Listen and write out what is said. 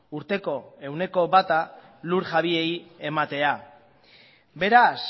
urteko ehuneko bata lur jabeei ematea beraz